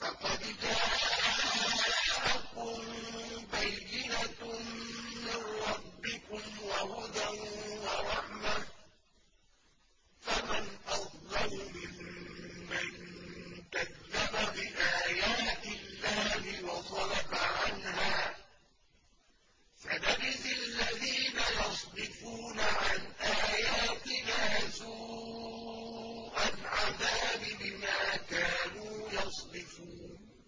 فَقَدْ جَاءَكُم بَيِّنَةٌ مِّن رَّبِّكُمْ وَهُدًى وَرَحْمَةٌ ۚ فَمَنْ أَظْلَمُ مِمَّن كَذَّبَ بِآيَاتِ اللَّهِ وَصَدَفَ عَنْهَا ۗ سَنَجْزِي الَّذِينَ يَصْدِفُونَ عَنْ آيَاتِنَا سُوءَ الْعَذَابِ بِمَا كَانُوا يَصْدِفُونَ